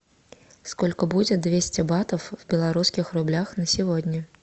сколько будет двести батов в белорусских рублях на сегодня